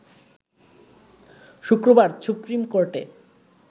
শুক্রবার সুপ্রিম কোর্টে